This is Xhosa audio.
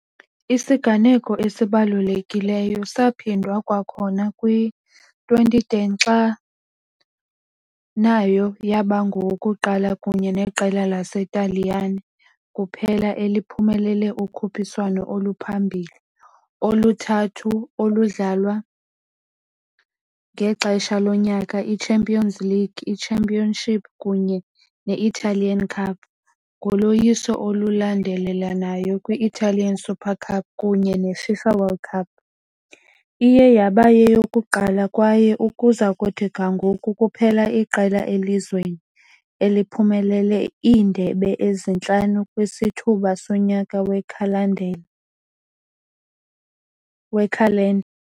Isiganeko esibalulekileyo saphindwa kwakhona kwi-2010, xa nayo yaba ngowokuqala kunye neqela laseNtaliyane kuphela eliphumelele ukhuphiswano oluphambili oluthathu oludlalwa ngexesha lonyaka- i-Champions League, i-Championship kunye ne-Italian Cup, ngoloyiso olulandelelanayo kwi- Italian Super Cup kunye neFIFA Club World Cup, iye yaba yeyokuqala kwaye, ukuza kuthi ga ngoku, kuphela iqela elizweni eliphumelele iindebe ezintlanu kwisithuba sonyaka wekhalendeni, wekhalenda.